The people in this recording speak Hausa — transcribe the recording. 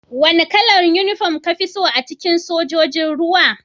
Wane kalar uniform ka fi so a cikin Sojojin ruwa?